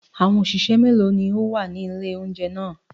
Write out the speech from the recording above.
Àwọn òṣìṣẹ́ méèló ni ó wà ní ilé-oúnjẹ ná à?